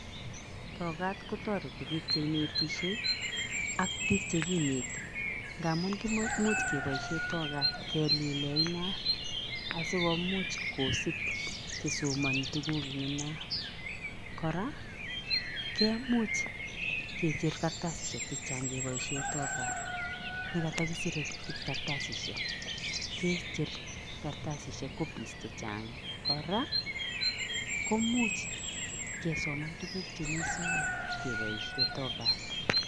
Tokat kotoreti biik cheinetisie ak bik chekineti ngamun kimo imuch keboisien tokat kelilen inat asikomuch kosib chesomoni tuguk en inat, kora kemuch kicher kartasisiek chechang' kebosiien tokat nekotokisire kartasisiek kicher kartasisiek copies chechang'. Kora kimuch kesoman tuguk chemi soeet kebosiien tokat.